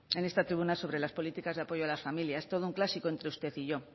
en esta tribuna sobre las políticas de apoyo a las familias es todo un clásico entre usted y yo